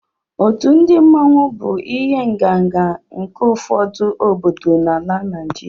Otu ndị mmanwu bụ ihe ǹgànga nke ụfọdụ obodo dị na Naịjirịa